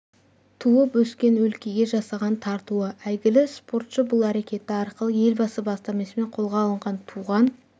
туып өскен өлкеге жасаған тартуы әйгілі спортшы бұл әрекеті арқылы елбасы бастамасымен қолға алынған туған